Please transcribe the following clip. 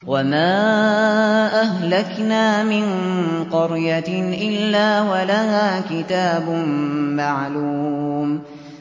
وَمَا أَهْلَكْنَا مِن قَرْيَةٍ إِلَّا وَلَهَا كِتَابٌ مَّعْلُومٌ